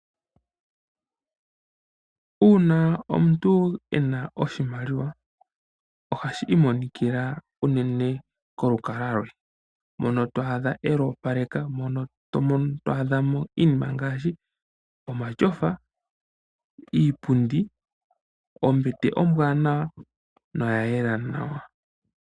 Uuna omuntu ena oshimaliwa ohashi imonikila uunene kolukalwa lwe, mono twaadha elu opaleka mono twaadha mo iinima ngaashi omatyofa, iipundi, ombete ombwaanawa noya yela nawa.